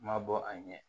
Ma bɔ a ɲɛ